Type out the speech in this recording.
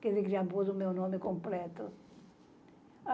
Quer dizer, que já pôs o meu nome completo.